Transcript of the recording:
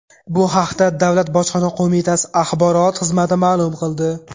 Bu haqda Davlat bojxona qo‘mitasi axborot xizmati ma’lum qildi .